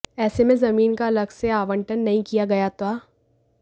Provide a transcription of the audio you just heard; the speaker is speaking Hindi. ऐसे में जमीन का अलग से आवंटन नहीं किया गया ता